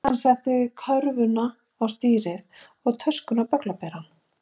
Hann setti körfuna á stýrið og töskuna á bögglaberann.